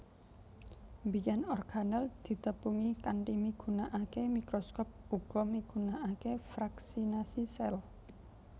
Biyèn organel ditepungi kanthi migunakaké mikroskop uga migunakaké fraksinasi sel